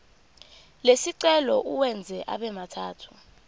lesicelo uwenze abemathathu